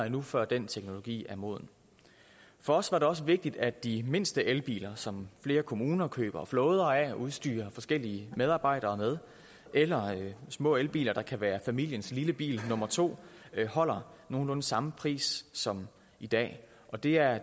endnu før den teknologi er moden for os var det også vigtigt at de mindste elbiler som flere kommuner køber flåder af og udstyrer forskellige medarbejdere med eller små elbiler der kan være familiens lille bil nummer to holder nogenlunde samme pris som i dag og det er